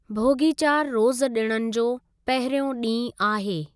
भोगी चार रोज़ह डि॒णनि जो पहिरियों डींहु आहे।